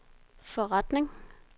forretning